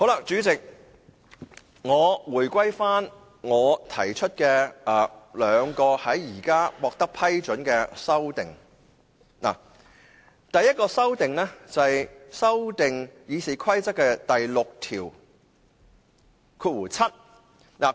主席，關於我提出的兩項現時獲得批准的修正案，第一項修正案是修改《議事規則》第67條。